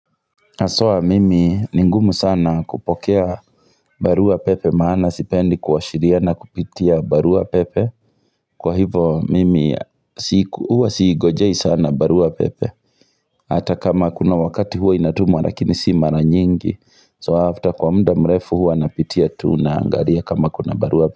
Haswa mimi ni ngumu sana kupokea barua pepe maana sipendi kuwashiriana kupitia barua pepe kwa hivo mimi huwa siingojei sana barua pepe ata kama kuna wakati huwa inatumwa lakini si mara nyingi so after kwa muda mrefu huwa napitia tu naangalia kama kuna barua pepe.